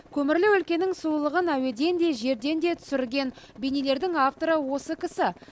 көмірлі өлкенің сұлулығы әуеден де жерден де түсірілген бейнелердің авторы осы кісі